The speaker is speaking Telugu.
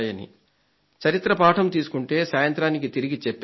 చరిత్ర పాఠం తీసుకుంటే సాయంత్రానికి తిరిగి చెప్పేస్తుంది